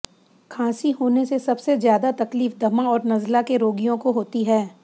खाँसी होने से सबसे ज़्यादा तकलीफ दमा और नज़ला के रोगियों को होती है